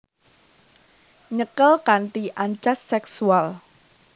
Nyekel kanthi ancas seksual